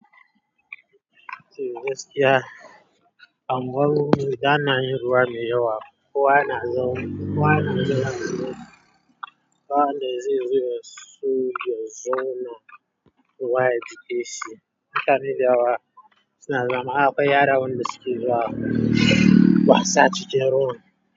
Amma ruwa yana yin ruwa mai yawa. Kowa yana zawo, kowa yana zuwa. Ba wanda zai so ya zo ya zauna ruwa ya jiƙe shi hakan ya zama, suna zama akwai yaran da suke zuwa wasa cikin ruwan.